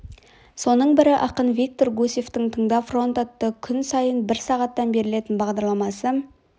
соның бірі ақын виктор гусевтің тыңда фронт атты күн сайын бір сағаттан берілетін бағдарламасы